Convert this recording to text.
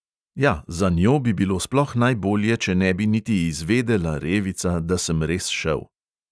Ja, za njo bi bilo sploh najbolje, če ne bi niti izvedela, revica, da sem res šel.